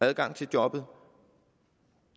adgang til jobbet og